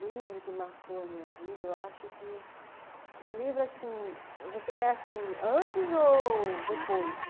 Livro que marcou a minha vida, eu acho que um livro assim, você quer assim, antes ou depois?